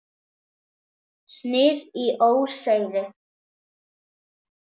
Snið í óseyri.